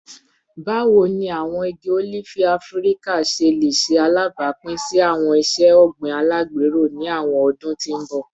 Bawo ni awọn igi olifi Afirika ṣe le ṣe alabapin si awọn iṣe ogbin alagbero ni awọn ọdun ti n bọ?